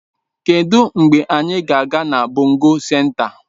Kedụ mgbe anyị ga-aga na bongo senta?